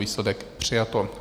Výsledek - přijato.